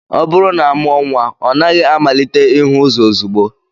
Ọ bụrụ na amụọ nnwa, ọ naghị amalite ihu ụzọ ozugbo